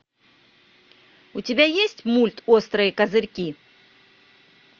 у тебя есть мульт острые козырьки